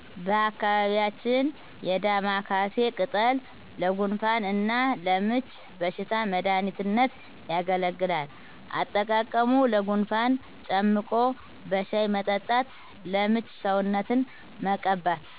በአካባቢያችን የዳማካሲ ቅጠል ለጉንፋን እና ለምች በሽታ መድሃኒትነት ያገለግላል። አጠቃቀሙ ለጉንፋን ጨምቆ በሻሂ መጠጣት ለምች ሰውነትን መቀባት